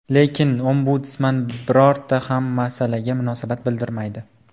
Lekin Ombudsman birorta ham masalaga munosabat bildirmaydi.